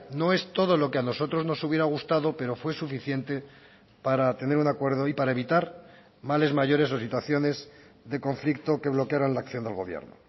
no es todo lo que a nosotros nos hubiera gustado pero fue suficiente para tener un acuerdo y para evitar males mayores o situaciones de conflicto que bloquearan la acción del gobierno